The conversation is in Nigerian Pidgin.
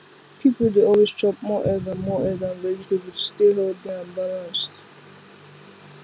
people dey always chop more egg and more egg and vegetable to stay healthy and balanced